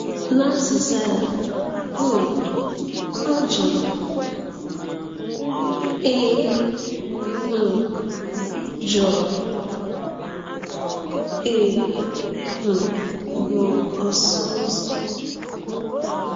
N’azịza ya, um ọ jụrụ: Ị um jụrụ: Ị um bụ́ ọsụ ụzọ?